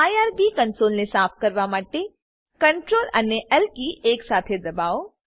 IRB કંસોલને સાફ કરવા માટે સીઆરટીએલ અને એલ કી એકસાથે દબાવો